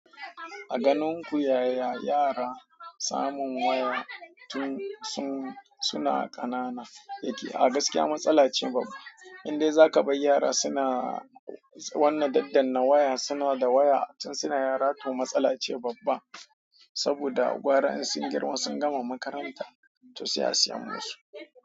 A ganin ku yaya yara samun waya tun suna ƙanana yake? A gaskiya matsala ce babba. Indai za ka bar yara suna wannan daddana waya suna da waya tun suna yara to matsala ce babba. Saboda gwara in sun girma sun gama makaranta to sai a siya musu.